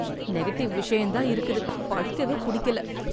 Negative விஷயம் தான் இருக்குது, படிக்கவே புடிக்கல.